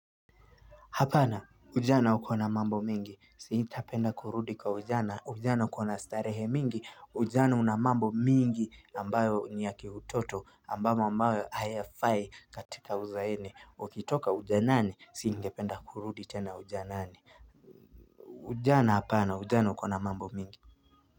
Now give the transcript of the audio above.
Hapana, ujana ukona mambo mengi, siitapenda kurudi kwa ujana, ujana ukona starehe mingi, ujana unamambo mingi ambayo niya kii utoto, ambayo ambayo hayafai katika uzaeni, ukitoka ujanani, singependa kurudi tena ujanani ujana hapana, ujana ukona mambo mingi.